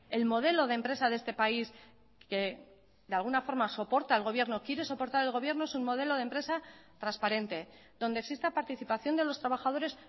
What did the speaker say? el modelo de empresa de este país que de alguna forma soportar el gobierno quiere soportar el gobierno es un modelo de empresa transparente donde exista participación de los trabajadores